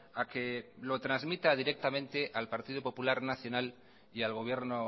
a que lo transmita directamente al partido popular nacional y al gobierno